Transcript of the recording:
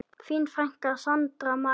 Þín frænka, Sandra María.